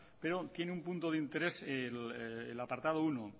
pero tiene un punto de interés el apartado uno